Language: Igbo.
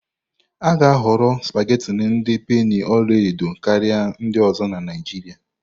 A ga-ahọrọ supagetii ndi penii ọla edo karịa ndị ọzọ na Naijiria.